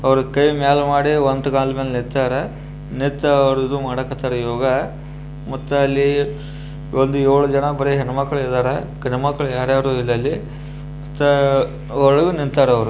ಅವ್ರು ಕೈ ಮ್ಯಾಲ ಮಾಡಿ ಅಂಟಗಾಲ ಮ್ಯಾಲ ನಿತಾರ ನಿಂತು ಇದು ಮಾಡ್ಲಿಕ್ಕಾತ್ತಾರ ಯೋಗ ಮತ್ತ ಅಲ್ಲಿ ಒಂದು ಏಳು ಜನ ಹೆಮಕ್ಕಳು ಮಾತ್ರ ಇದಾರ ಗಂಡು ಮಕ್ಕಳು ಯಾರ್ಯಾರು ಇಲ್ಲ ಅಲ್ಲಿ ಮತ್ತೆ ಒಳಗೆ ನಿಂತರ ಅವರು ಅವ್ರು.